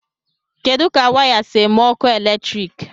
kedu ka waya si eme ọkụ eletrik